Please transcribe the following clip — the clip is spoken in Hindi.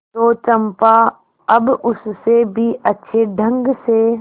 तो चंपा अब उससे भी अच्छे ढंग से